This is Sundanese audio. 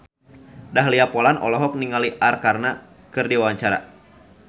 Dahlia Poland olohok ningali Arkarna keur diwawancara